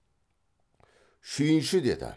шүйінші деді